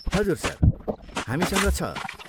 हजुर, सर, हामीसँग छ।